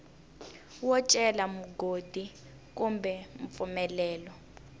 wo cela mugodi kumbe mpfumelelo